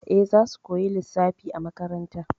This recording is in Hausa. Eh, zasu koya lissafi a makaranta.